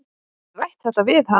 Hefurðu rætt þetta við hann?